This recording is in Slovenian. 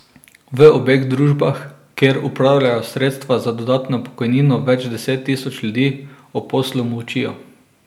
V obeh družbah, kjer upravljajo sredstva za dodatno pokojnino več deset tisoč ljudi, o poslu molčijo.